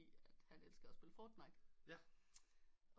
At han elsker at spille fortnite